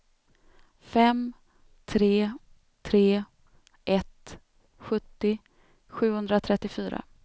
fem tre tre ett sjuttio sjuhundratrettiofyra